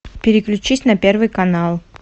переключись на первый канал